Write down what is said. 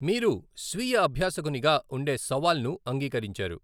మీరు స్వీయ అబ్యూసకునిగా ఉండే సవాల్ను అంగీకరించారు.